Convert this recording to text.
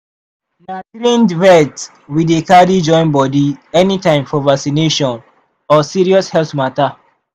sick fowl were dey ghost check on am e fit just dey one corner or no dey chop.